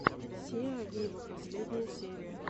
сиа виво последняя серия